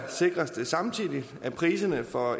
sikres det samtidig at priserne for